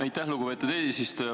Aitäh, lugupeetud eesistuja!